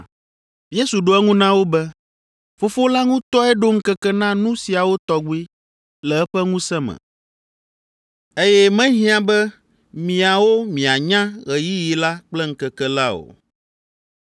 Yesu ɖo eŋu na wo be, “Fofo la ŋutɔe ɖo ŋkeke na nu siawo tɔgbi le eƒe ŋusẽ me, eye mehiã be miawo mianya ɣeyiɣi la kple ŋkeke la o.